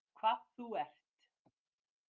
Hvað þú ert.